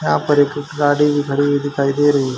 यहां पर एक गाड़ी भी खड़ी हुई दिखाई दे रही--